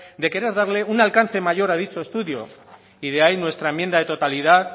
de querer darle un alcance mayor a dicho estudio y de ahí nuestra enmienda de totalidad